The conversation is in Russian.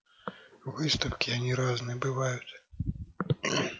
выставки они разные бывают